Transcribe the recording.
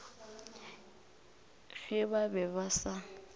ge ba be ba sa